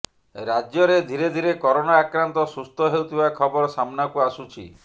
ରାଜ୍ୟରେ ଧୀରେ ଧୀରେ କରୋନା ଆକ୍ରାନ୍ତ ସୁସ୍ଥ ହେଉଥିବା ଖବର ସାମ୍ନାକୁ ଆସୁଛି